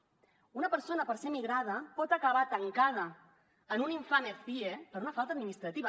una persona per ser migrada pot acabar tancada en un infame cie per una falta administrativa